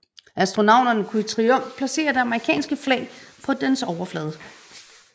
Astronauterne kunne i triumf placere det amerikanske flag på dens overflade